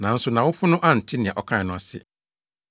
Nanso nʼawofo no ante nea ɔkae no ase.